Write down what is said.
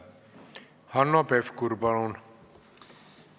Hanno Pevkur, palun!